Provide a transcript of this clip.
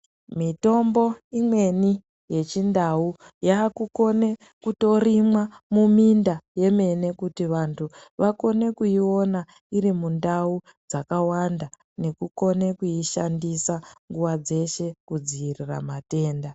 Mitombo imweni yechindau yaakukone kutorimwa muminda yemene kuti vantu vakone kuiona iri mundau dzakawanda nekukone kuishandisa nguwa dzeshe kudzivirira matenda.